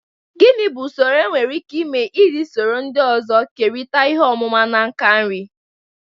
Gini bu usoro enwere ike ịme iji soro ndị ọzọ kerịta ihe ọmụma na nka nri?